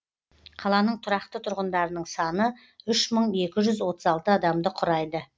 қаланың тұрақты тұрғындарының саны үш мың екі жүз отыз алты адамды құрайды